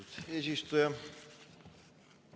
Austatud eesistuja!